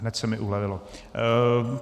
Hned se mi ulevilo.